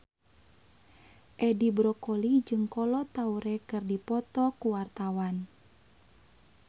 Edi Brokoli jeung Kolo Taure keur dipoto ku wartawan